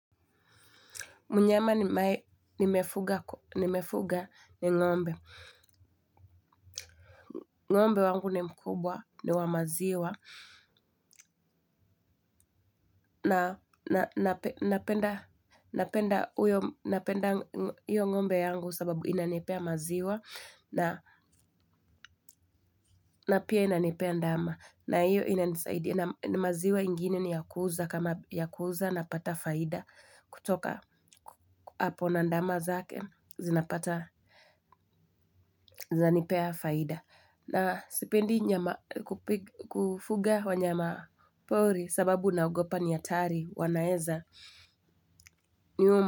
Mnyama nimefuga ni ngombe. Ngombe wangu ni mkubwa, niwa maziwa. Napenda, napenda hiyo ngombe yangu sababu inanipea maziwa. Na pia inanipea ndama. Na hiyo inanisaidia. Na maziwa ingine niyakuuza kama yakuuza napata faida. Kutoka, hapo na ndama zake, zinapata, zanipea faida. Na sipendi nyama kufuga wanyama pori sababu naogopa ni hatari wanaeza niuma.